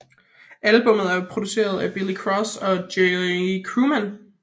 Albummet er produceret af Billy Cross og Jay Krugman